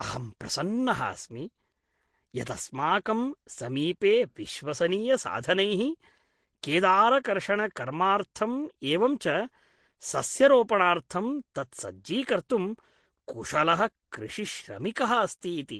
अहं प्रसन्नः अस्मि यत् अस्माकं समीपे विश्वसनीयसाधनैः केदारकर्षणकर्मार्थम् एवं च सस्यरोपणार्थं तत्सज्जीकर्तुं कुशलः कृषिश्रमिकः अस्ति इति।